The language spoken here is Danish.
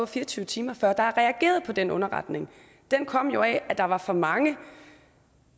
fire og tyve timer før der er reageret på den underretning den kom jo af at der var for mange